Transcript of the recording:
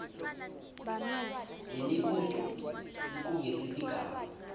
lemibuto licuketse tigaba